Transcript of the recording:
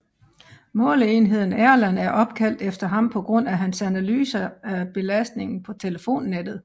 Måleenheden Erlang er opkaldt efter ham på grund af hans analyser af belastningen på telefonnet